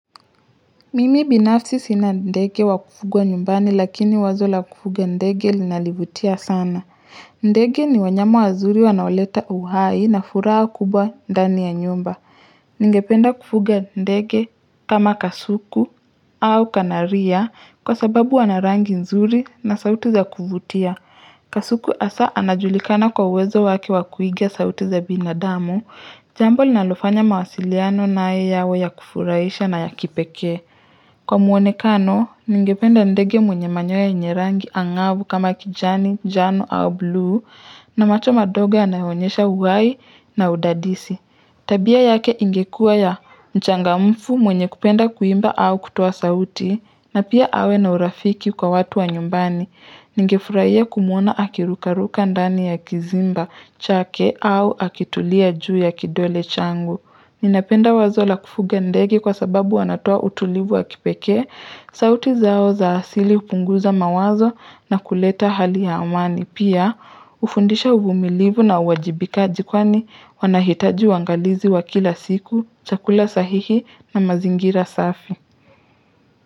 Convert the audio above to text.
Mimi binafsi sina ndege wa kufugwa nyumbani lakini wazo la kufugo ndege linalivutia sana. Ndege ni wanyama wazuri wanaoleta uhai na furaha kubwa mdani ya nyumba. Ningependa kufuga ndege kama kasuku au kanaria kwa sababu wana rangi nzuri na sauti za kuvutia. Kasuku hasa anajulikana kwa uwezo wake wakuigia sauti za binadamu. Jambo linalofanya mawasiliano naye yawe ya kufuraisha na ya kipekee Kwa muonekano, ningependa ndege mwenye manyoya yenye rangi angau kama kijani, jano au blu, na macho madogo yanayonyesha uhai na udadisi. Tabia yake ingekua ya mchangamfu mwenye kupenda kuimba au kutuwa sauti, na pia awe na urafiki kwa watu wa nyumbani. Ninge furahia kumuona akirukaruka ndani ya kizimba, chake au akitulia juu ya kidole changu. Ninapenda wazo la kufuga ndege kwa sababu wanatoa utulivu wa kipekee, sauti zao za asili upunguza mawazo na kuleta hali ya amani. Pia, ufundisha uvumilivu na uwajibikaji kwani wanahitaji uangalizi wa kila siku, chakula sahihi na mazingira safi.